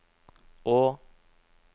å